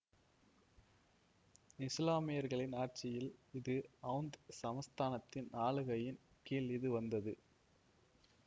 இசுலாமியர்களின் ஆட்சியில் இது அவுந்த் சமஸ்தானத்தின் ஆளுகையின் கீழ் இது வந்தது